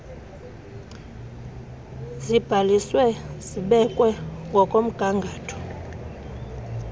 zibhaliswe zibekwe ngokomgangatho